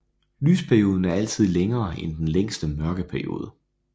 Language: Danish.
Lysperioden er altid længere end den længste mørkeperiode